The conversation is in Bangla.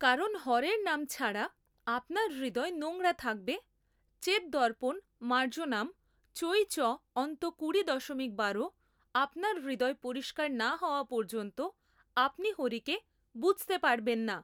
কারণ হরের নাম ছাড়া আপনার হৃদয় নোংড়া থাকবে চেত দর্পণ মার্জনাম চৈ.চ.অন্ত কুড়ি দশমিক বারো আপনার হৃদয় পরিষ্কার না হওয়া পর্যন্ত আপনি হরিকে বুঝতে পারবেন না।